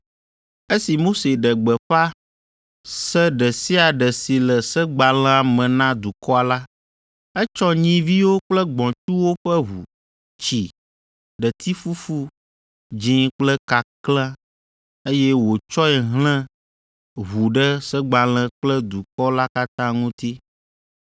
Esi Mose ɖe gbeƒã se ɖe sia ɖe si le segbalẽa me na dukɔa la, etsɔ nyiviwo kple gbɔ̃tsuwo ƒe ʋu, tsi, ɖetifufu dzĩ kple kakle, eye wòtsɔe hlẽ ʋu ɖe segbalẽ kple dukɔ la katã ŋuti.